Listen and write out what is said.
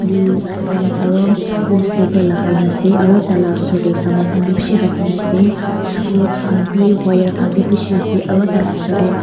blue pant aru blue sliper lagai na ase aru taila osor tae saman bishi rakhina ase rot wire khan vi bishi ase aru taila osor tae.